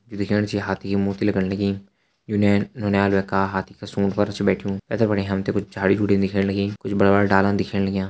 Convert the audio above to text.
यु दिखेण से हाथी की मूर्ति लगण लगी यु नेन-नौनियाल वे का हाथी का सुठ पर छ बैठ्युं ऐथर फणी हम तें कुछ झाड़ी झुडी दिखेण लगी कुछ बड़ा बड़ा डालान दिखेण लग्यां।